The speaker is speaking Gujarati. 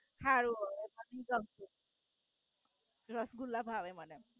હારું. રસગુલ્લા ભાવે મને.